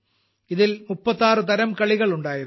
ഇതിൽ 36തരം കളികളുണ്ടായിരുന്നു